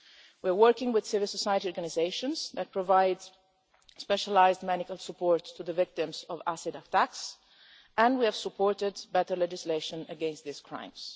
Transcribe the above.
We're working with civil society organisations that provide specialised medical support to the victims of acid attacks, and we have supported better legislation against these crimes.